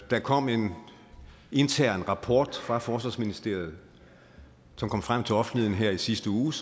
der kom en intern rapport fra forsvarsministeriet som kom frem til offentligheden her i sidste uge